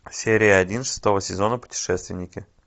серия один шестого сезона путешественники